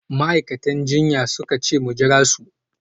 Ma’aikatan jinya suka ce mu jira su